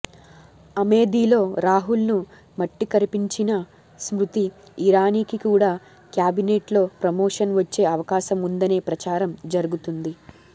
అమేథీలో రాహుల్ ను మట్టికరిపించిన స్మృతి ఇరానీకి కూడా క్యాబినెట్ లో ప్రమోషన్ వచ్చే అవకాశం ఉందనే ప్రచారం జరుగుతుంది